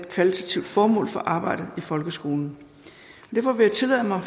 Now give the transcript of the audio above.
kvalitativt formål for arbejdet i folkeskolen derfor vil jeg tillade mig at